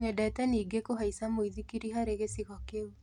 Nyendete ningĩ kũhaica mũithikiri harĩ gĩcigo kĩu.